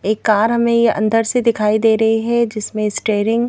एक कार हमें ये अंदर से दिखाई दे रही है जिसमें स्टेयरिंग --